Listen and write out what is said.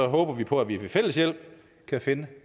håber vi på at vi ved fælles hjælp kan finde